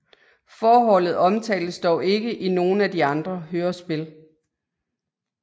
Forholdet omtales dog ikke i nogen af de andre hørespil